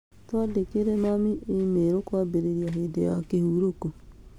Twandĩkĩre mami e-mail kwambĩrĩria hĩndĩ ya kĩhurũko